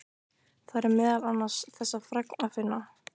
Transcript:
Þar er meðal annars þessa fregn að finna